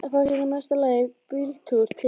Fá sér í mesta lagi bíltúr til